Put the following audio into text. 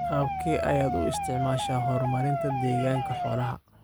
Qaabkee ayaad u isticmaashaa horumarinta deegaanka xoolaha?